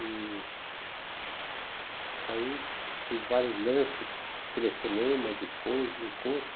E aí teve vários lances de telefonemas e coisas, encontros.